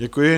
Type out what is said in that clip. Děkuji.